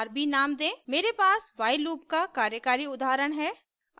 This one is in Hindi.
मेरे पास while लूप का कार्यकारी उदाहरण है